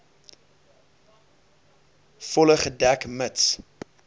volle gedek mits